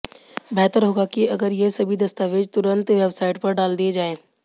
बेहतर होगा कि अगर ये सभी दस्तावेज तुरंत वेबसाइट पर डाल दिए जाएं